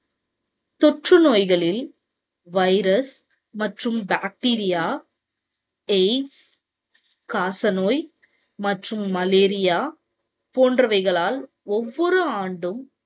தொற்று நோய்களில் virus மற்றும் bacteria, aids காச நோய் மற்றும் malaria போன்றவைகளால் ஒவ்வொரு ஆண்டும்